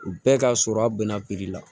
Bɛɛ ka sɔrɔ a bɛnna la